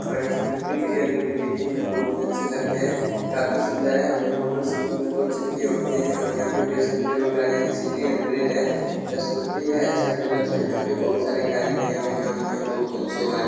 ऊपर स्कूटी भी है जो की देखने मे बहुत ही अच्छे लगते है काफी सुंदर है और मोटर साइकिल में दो चक्के होते है और यहां पर पैशन प्रो गाड़ी है सिटी हंड्रेड है स्कूट्री है एच ऐप डिलक्स है यहां पे बहुत सारे गाड़ी का यहां पे नाम है बहुत ही अच्छे हैं गाड़ी--